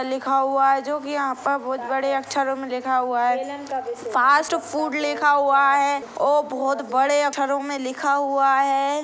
लिखा हुआ है जो की यहाँ पर बहुत बड़े अक्षरों में लिखा हुआ हैफास्ट फूड लिखा हुआ है और बहुत बड़े अक्षरों में लिखा हुआ है।